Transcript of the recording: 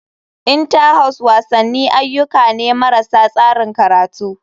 Inter house wasanni ayyuka ne marasa tsarin karatu.